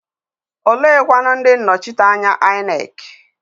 Oleekwanụ ndị nnọchiteanya INEC?